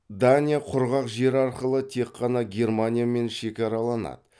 дания құрғақ жер арқылы тек қана германиямен шекараланады